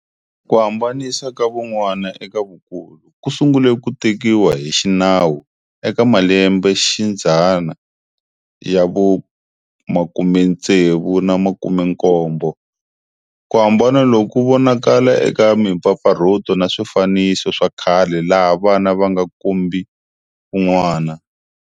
Kuhambanisa ka vun'wana eka vukulu ku sungule ku tekiwa hi xinawu eka malembexidzana ya vu 60 na vu 70. Kuhambana loku ku vonakala eka mimpfapfarhuto na swifaniso swakhale laha vana avanga kombi vun'wana.